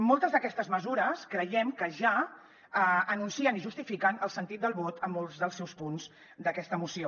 moltes d’aquestes mesures creiem que ja anuncien i justifiquen el sentit del vot en molts dels seus punts d’aquesta moció